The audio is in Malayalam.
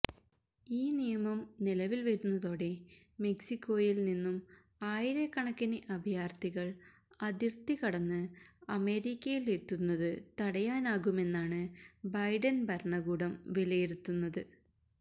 ഈ നിയമം നിലവിൽ വരുന്നതോടെ മെക്സിക്കോയിൽ നിന്നും ആയിരക്കണക്കിന് അഭയാർഥികൾ അതിർത്തി കടന്നു അമേരിക്കയിലെത്തുന്നതു തടയാനാകുമെന്നാണു ബൈഡൻ ഭരണകൂടം വിലയിരുത്തുന്നത്